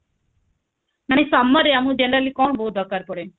ମାନେ summer ରେ ଆମକୁ generally କଣ ବହୁତ ଦରକାର ପଡେ